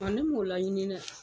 Ɔ ne mɔn laɲini dɛ.